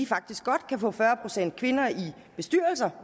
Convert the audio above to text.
faktisk godt kan få fyrre procent kvinder i bestyrelser